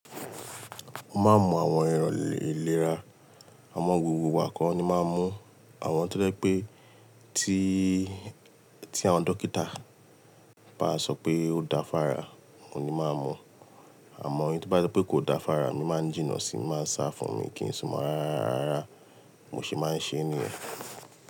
Mo máa ń mọ àwọn ẹ̀rọ̀ ìlera, àmọ́ gbogbo ìgbà kọ́ ni n máa ń mu-ún? Àwọn tó jẹ́ pé tí, tí àwọn dókítà bá sọ pé ó dáa fára, òun ní n máa ń mu. Àmọ́ èyí tó bá jẹ́ pé kò dáa fára, mo máa ń jìnnà sí i, n máa ń sá fún-un miì kí n sún mọ rárá rárá mo ṣe máa ń ṣeé nìyẹn.